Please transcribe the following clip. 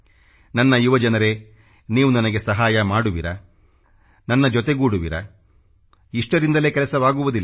ನನ್ನ ಯುವ ಜನರೇ ನೀವು ನನಗೆ ಸಹಾಯ ಮಾಡುವಿರಾ ನನ್ನ ಜೊತೆ ಗೂಡುವಿರಾ ಇಷ್ಟರಿಂದಲೇ ಕೆಲಸವಾಗುವದಿಲ್ಲ